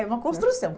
É uma construção.